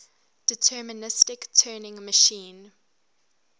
deterministic turing machine